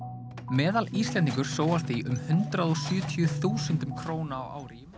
meðal Íslendingur sóar því um hundrað og sjötíu þúsundum króna á ári í